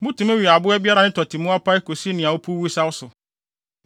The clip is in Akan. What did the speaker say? Mutumi we aboa biara a ne tɔte mu apae kosi nea opuw wosaw so.